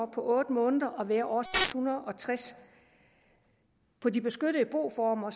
på otte måneder at være over seks hundrede og tres på de beskyttede boformer